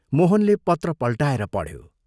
मोहनले पत्र पल्टाएर पढ्यो।